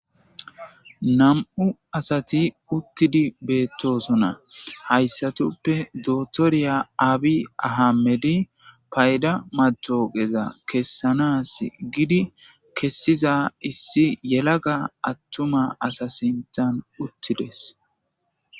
Nam'u asati uttidi beettosonna hayssatuppe dotoriya aabi ahamedi payda matogeza kessanas gidi kessiza issi yelaga attuma asa sintan uttides